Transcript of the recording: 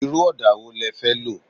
Irú ọdà wo le fẹ́ lo?